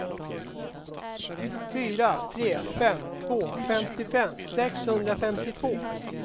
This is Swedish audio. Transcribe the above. fyra tre fem två femtiofem sexhundrafemtiotvå